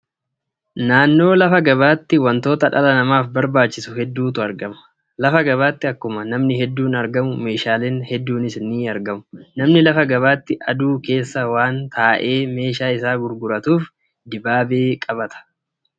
Naannoo lafa gabaatti wantoota dhala namaaf barbaachisu hedduutu argama. Lafa gabaatti akkuma namni hedduun argamu, meeshaalee hedduunis ni argamu. Namni lafa gabaatti aduu keessa waan taa'ee meeshaa isaa gurguratuuf, dibaabee qabata.